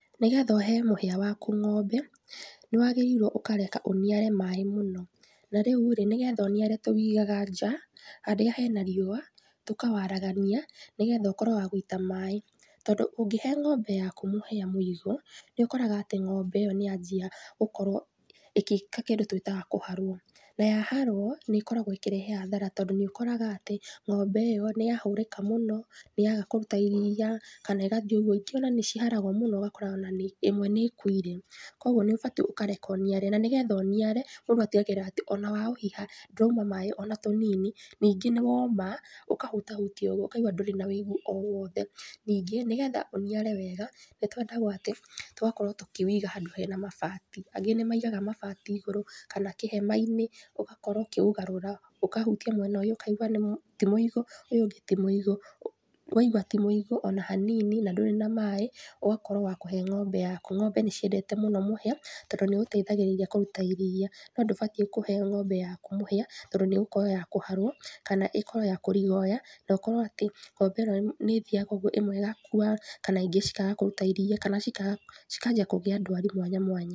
Nĩgetha ũhe mũhĩa waku ng'ombe, nĩwagĩrĩirwo ũkareka ũniare maĩ mũno. Na rĩu rĩ, nĩgetha ũniare tũwĩigaga nja, harĩa hena riũa, tũkawaragania, nĩgetha ũkorwo wa gũita maĩ. Tondũ ũngĩhe ng'ombe yaku mũhĩa mũigũ, nĩũkoraga atĩ ng'ombe ĩyo nĩyanjia gũkorwo ĩkĩka kĩndũ tũĩtaga kũharwo. Na yaharwo nĩikoragwo ĩkĩrehe hathara tondũ nĩũkoraga atĩ, ng'ombe ĩyo nĩyahũrĩka mũno, nĩyaga kũruta iriia, kana igathiĩ ũguo, ingĩ ona nĩ ciharagwo mũno ũgakora ona nĩ ĩmwe nĩikuire. Koguo nĩ ũbatie ũkareka ũniare, na nĩgetha ũniare, mũndũ atigagĩrĩra atĩ ona waũhiha, ndũrauma maĩ ona tũnini, ningĩ nĩwoma, ũkahutahutia ũguo ũkaigua ndũrĩ na wĩigũ o wothe. Ningĩ nĩgetha ũniare wega, nĩtwendaguo atĩ, tũgakorwo tũkĩwĩiga handũ harĩ na mabati. Angĩ nĩmaigaga mabati igũrũ, kana kĩhemainĩ, ũgakorwo ũkĩũgarora. Ũkahutia mwena ũyũ, ũkaigwa nĩ ti mũigũ, ũyũ ũngĩ ti mũigũ. Waigua ti mũĩgũ ona hanini na ndũrĩ maĩ, ũgakorwo wa kũhe ng'ombe yaku. Ng'ombe nĩciendete mũno mũhĩa, tondũ nĩũteithagĩrĩria kũruta iriia. No ndũbatiĩ kũhe ng'ombe yaku mũhĩa, tondũ nĩigũkorwo ya kũharwo, kana ĩkorwo ya kũrigoya, na ũkore atĩ ng'ombe ino nĩithiaga ũguo ĩmwe ĩgakua, kana ingĩ cikaga kũruta iriia, kana cikaga cikanjia kũgĩa ndwari mwanya mwanya.